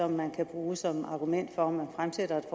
man kan bruge som argument for om man fremsætter et